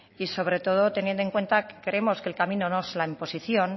y sobre todo teniendo en cuenta que creemos que el camino no es la imposición